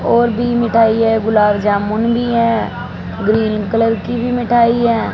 और भी मिठाई है गुलाब जामुन भी है। ग्रीन कलर की भी है मिठाई है।